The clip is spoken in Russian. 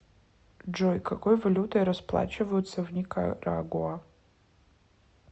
джой какой валютой расплачиваются в никарагуа